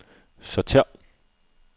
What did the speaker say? sortér